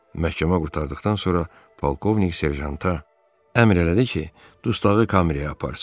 Məhkəmə qurtardıqdan sonra polkovnik serjanta əmr elədi ki, dustağı kameraya aparsın.